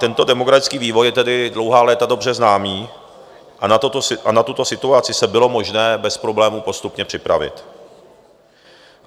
Tento demografický vývoj je tedy dlouhá léta dobře známý a na tuto situaci se bylo možné bez problému postupně připravit.